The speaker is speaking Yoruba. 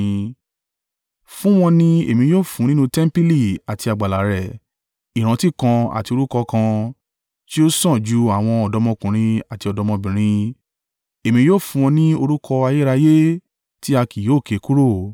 fún wọn ni Èmi yóò fún nínú tẹmpili àti àgbàlá rẹ̀ ìrántí kan àti orúkọ kan tí ó sàn ju àwọn ọ̀dọ́mọkùnrin àti ọ̀dọ́mọbìnrin, Èmi yóò fún wọn ní orúkọ ayérayé tí a kì yóò ké kúrò.